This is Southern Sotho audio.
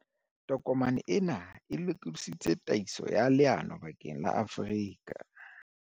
Tokomane ena e lokodisitse tataiso ya leano bakeng la Afrika.